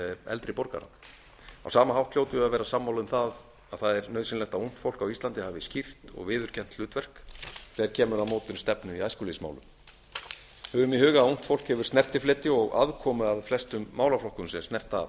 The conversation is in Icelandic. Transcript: eldri borgara á sama hátt hljótum við að vera sammála um að það er nauðsynlegt að ungt fólk á íslandi hafi skýrt og viðurkennt hlutverk þegar kemur að mótun stefnu í æskulýðsmálum höfum í huga að ungt fólk hefur snertifleti og aðkomu að flestum málaflokkum sem snerta